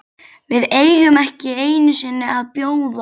VIÐ EIGUM EKKI EINU SINNI AÐ BJÓÐA